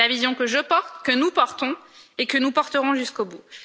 C'est la vision que je porte, que nous portons et que nous porterons jusqu'au bout.